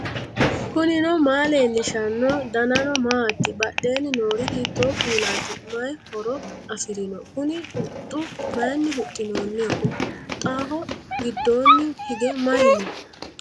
knuni maa leellishanno ? danano maati ? badheenni noori hiitto kuulaati ? mayi horo afirino ? kuni huxxu maayinni huxxinoonniho huxxaho giddoonni hige mayi no